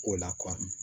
Ko la